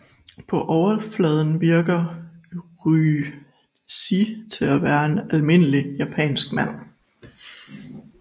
På overfladen virker Ryuichi til at være en almindelig japansk mand